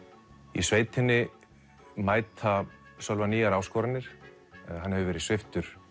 í sveitinni mæta Sölva nýjar áskoranir hann hefur verið sviptur